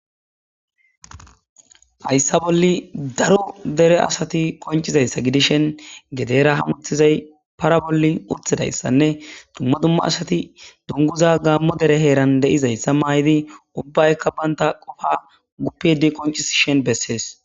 Hayssa bolli daro dere asati koncizayssa gidishen gedera hamutizay para bolli urtidayssanne dumma dumma asati dunguza gaammo dere heeran de7izayssa maayidi ubbaykka banta qofa guppidi koncisi shen bessees.